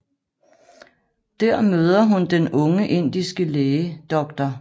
Der møder hun den unge indiske læge dr